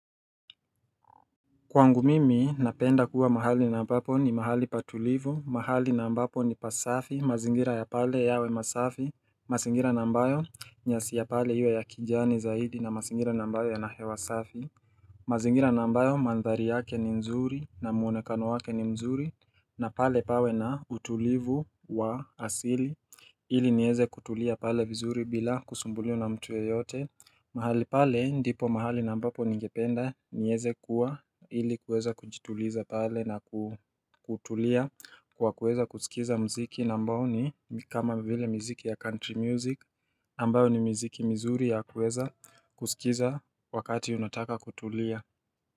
Kwangu mimi napenda kuwa mahali na mbapo ni mahali patulivu, mahali na ambapo ni pasafi, mazingira ya pale yawe masafi, masingira na mbayo nyasi ya pale iwe ya kijani zaidi na masingira na mbayo ya nahewa safi mazingira nambayo mandhari yake ni nzuri na muonekano wake ni mzuri na pale pawe na utulivu wa asili ili nieze kutulia pale vizuri bila kusumbulio na mtu yeyote mahali pale ndipo mahali nambapo ningependa nieze kuwa ili kuweza kujituliza pale na kutulia kwa kuweza kusikiza mziki nambao ni kama vile mziki ya country music nambao ni mziki mzuri ya kuweza kusikiza wakati unataka kutulia.